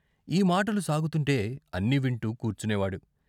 ఈ మాటలు సాగుతుంటే అన్నీ వింటూ కూర్చునేవాడు.